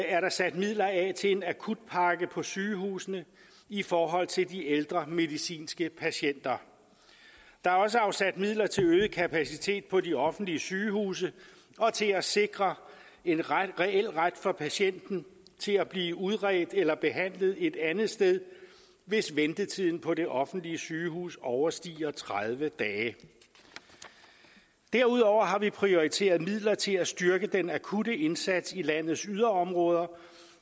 er der sat midler af til en akutpakke på sygehusene i forhold til de ældre medicinske patienter der er også afsat midler til øget kapacitet på de offentlige sygehuse og til at sikre en reel ret for patienten til at blive udredt eller behandlet et andet sted hvis ventetiden på det offentlige sygehus overstiger tredive dage derudover har vi prioriteret midler til at styrke den akutte indsats i landets yderområder